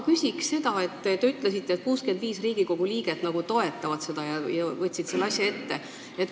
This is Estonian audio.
Te ütlesite, et 65 Riigikogu liiget toetavad seda ja võtsid selle asja ette.